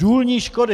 Důlní škody.